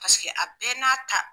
Paseke a bɛɛ n'a ta.